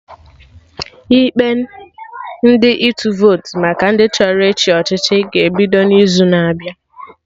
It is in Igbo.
Ikpe ndị ịtụ votu maka ndị chọrọ ịchị ọchịchị ga-ebido n'izu na-abịa